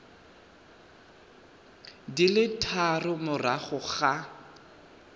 di le tharo morago ga